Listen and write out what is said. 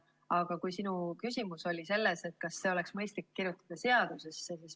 Aga sinu küsimus oli, kas see oleks mõistlik kirjutada seadusesse.